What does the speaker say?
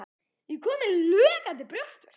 Ég er kominn með logandi brjóstverk.